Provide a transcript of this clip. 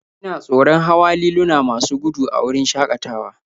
Ina tsoron hawa liluna masu gudu a wurin shakatawa